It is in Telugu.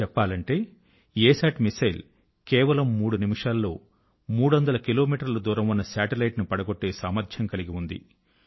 చెప్పాలంటే అసత్ మిస్సైల్ కేవలం మూడు నిమిషాల్లో మూడొందల కిలో మీటర్ల దూరం ఉన్న శాటిలైట్ ను పడగొట్టే సామర్ధ్యం కలిగి ఉంది